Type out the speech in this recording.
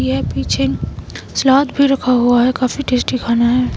यह पीछे सलाद भी रखा हुआ है जो काफी टेस्टी खाना है।